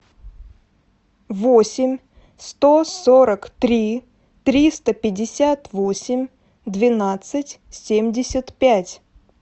восемь сто сорок три триста пятьдесят восемь двенадцать семьдесят пять